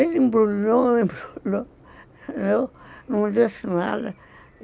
Ele embrulhou, embrulhou, não disse nada.